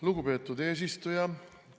Lugupeetud eesistuja!